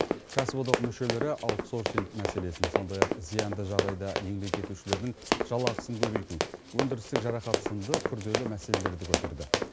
кәсіподақ мүшелері аутсорсинг мәселесін сондай ақ зиянды жағдайда еңбек етушілердің жалақысын көбейту өндірістік жарақат сынды күрделі мәселелерді көтерді